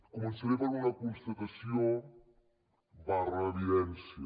començaré per una constatació evidència